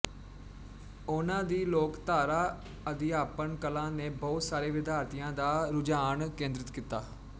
ਉਹਨਾਂ ਦੀ ਲੋਕਧਾਰਾ ਅਧਿਆਪਨ ਕਲਾ ਨੇ ਬਹੁਤ ਸਾਰੇ ਵਿਦਿਆਰਥੀਆਂ ਦਾ ਰੁਝਾਨ ਕੇਂਦਰਿਤ ਕੀਤਾ